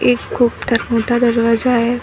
एक खूप मोठा दरवाजा आहे.